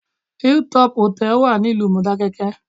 Hill Top Hotel wà ní ìlú Mọdákẹ́kẹ́